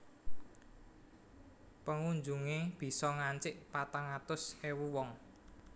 Pengunjungé bisa ngancik patang atus ewu wong